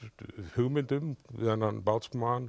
hugmynd um þennan